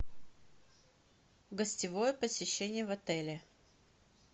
гостевое посещение в отеле